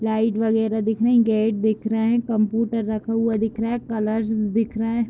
Light वेगेरा दिख रहे है गेट्स दिख रहे है कंप्यूटर रखा हुआ दिख रहा है कलर्स दिख रहे है।